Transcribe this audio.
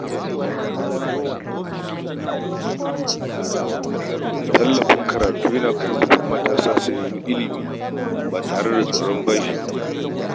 Tallafin karatu yana ƙarfafa matasa su nemi ilimi ba tare da tsoron bashi ba.